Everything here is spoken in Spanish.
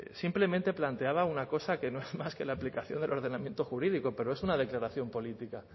simplemente planteaba una cosa que no es más que la aplicación del ordenamiento jurídico pero es una declaración política